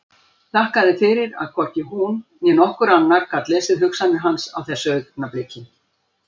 Þakkaði fyrir að hvorki hún né nokkur annar gat lesið hugsanir hans á þessu augnabliki.